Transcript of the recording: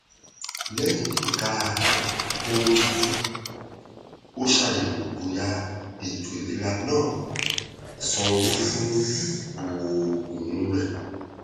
lẹyìn kíka ohun tuntun ó ṣàyẹwò bóyá ètò ìlera náà sánwó fún òògùn rẹ